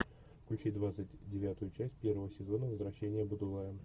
включи двадцать девятую часть первого сезона возвращение будулая